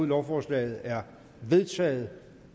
lovforslaget er vedtaget